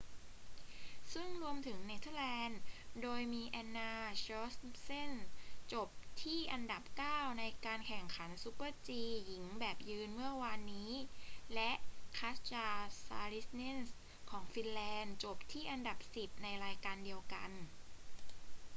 ซึ่งรวมถึงเนเธอร์แลนด์ โดยมี anna jochemsen จบที่อันดับเก้าในการแข่งขัน super-g หญิงแบบยืนเมื่อวานนี้ และ katja saarinen ของฟินแลนด์จบที่อันดับสิบในรายการเดียวกัน